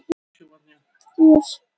Læknirinn vísaði henni leiðina.